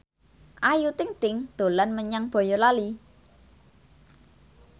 Ayu Ting ting dolan menyang Boyolali